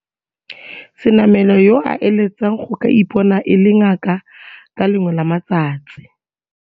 Senamela, yo a eletsang go ka ipona e le ngaka ka le lengwe la matsatsi.